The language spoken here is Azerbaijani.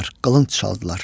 Qılınc çaldılar.